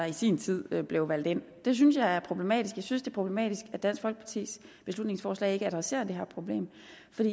i sin tid blev valgt ind det synes jeg er problematisk jeg synes det problematisk at dansk folkepartis beslutningsforslag ikke adresserer det her problem